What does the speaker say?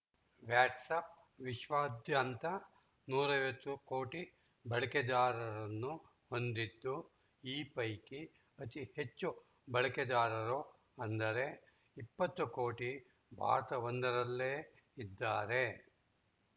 WhatsApp ವಿಶ್ವದಾದ್ಯಂತ ನೂರ ಐವತ್ತು ಕೋಟಿ ಬಳಕೆದಾರರನ್ನು ಹೊಂದಿದ್ದು ಈ ಪೈಕಿ ಅತಿ ಹೆಚ್ಚು ಬಳಕೆದಾರರು ಅಂದರೆ ಇಪ್ಪತ್ತು ಕೋಟಿ ಭಾರತವೊಂದರಲ್ಲೇ ಇದ್ದಾರೆ